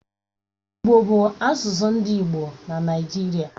Igbo bu asusu ndi igbo na Naijiria.